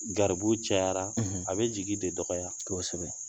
Garibu cayara, , a bɛ jigi de dɔgɔya kosɛbɛ